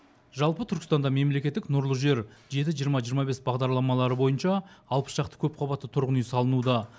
жалпы түркістанда мемлекеттік нұрлы жер жеті жиырма жиырма бес бағдарламалары бойынша алпыс шақты көпқабатты тұрғын үй салынуда